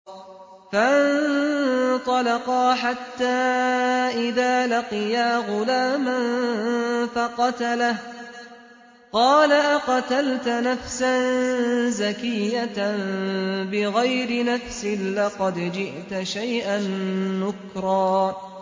فَانطَلَقَا حَتَّىٰ إِذَا لَقِيَا غُلَامًا فَقَتَلَهُ قَالَ أَقَتَلْتَ نَفْسًا زَكِيَّةً بِغَيْرِ نَفْسٍ لَّقَدْ جِئْتَ شَيْئًا نُّكْرًا